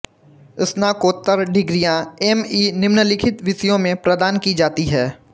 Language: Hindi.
स्नाकोत्तर डिग्रियाँ ऍम ई निम्नलिखित विषयों में प्रदान की जाती हैं